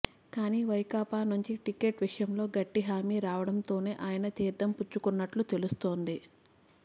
కానీ వైకాపా నుంచి టికెట్ విషయంలో గట్టి హామీ రావడంతోనే ఆయన తీర్థం పుచ్చుకున్నట్లు తెలుస్తోంది